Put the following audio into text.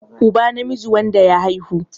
uba namiji wanda ya haihu